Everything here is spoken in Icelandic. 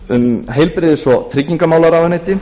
um heilbrigðis og tryggingamálaráðuneyti